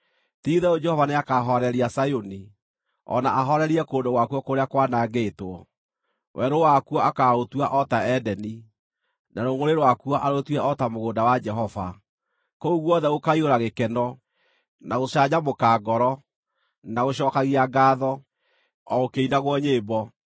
Ti-itherũ Jehova nĩakahooreria Zayuni, o na ahoorerie kũndũ gwakuo kũrĩa kwanangĩtwo; werũ wakuo akaaũtua o ta Edeni, na rũngʼũrĩ rwakuo arũtue o ta mũgũnda wa Jehova. Kũu guothe gũkaiyũra gĩkeno, na gũcanjamũka ngoro, na gũcookagia ngaatho, o gũkĩinagwo nyĩmbo.